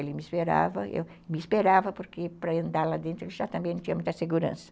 Ele me esperava, eu me esperava porque para andar lá dentro ele já também não tinha muita segurança.